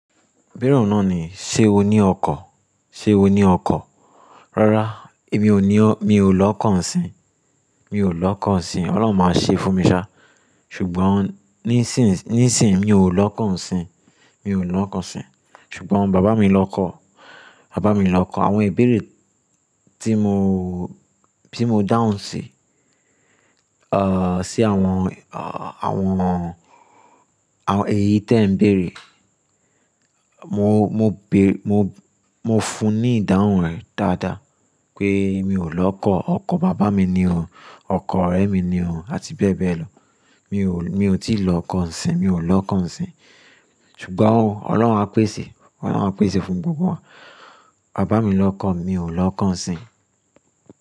Bírọ̀ náà ní, "Ṣé o ní ọkọ̀? Ṣé o ní ọkọ̀?" Rárá, èmi ò ní ọ́, mi ò lọ́kọ̀ ǹsìn. Mi ò lọ́kọ̀ ǹsìn. Ọlọ́run máa ṣe é fún mi ṣá. Ṣùgbọ́n ní ìsìn, ní ìsìn mi ò lọ́kọ̀ ǹsìn. Mi ò lọ́kọ̀ ǹsìn. Ṣùgbọ́n bàbá mi lọ kọ̀. Bàbá mi lọ kọ̀. Àwọn ìbéèrè tí mo, tí mo dáhùn sí, ah, sí àwọn, ah, àwọn, àwọn èyí tí ẹ̀ ń béèrè. Mo, mo béèrè, mo, mo fún un ní ìdáhùn rẹ̀ dáadáa pé mi ò lọ́kọ̀. Ọkọ̀ bàbá mi ni o. Ọkọ̀ ọ̀rẹ́ mi ni o, àti bẹ́ẹ̀ bẹ́ẹ̀ lọ. Mi ò, mi ò tí ì lọ́kọ̀ ǹsìn. Mi ò lọ́kọ̀ ǹsìn. Ṣùgbọ́n Ọlọ́run á pèsè. Ọlọ́run á pèsè fún gbogbo wa. Bàbá mi lọ kọ̀. Mi ò lọ́kọ̀ ǹsìn.